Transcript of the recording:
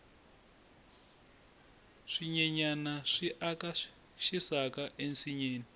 swinyenyani swi aka xisaka ensinyeni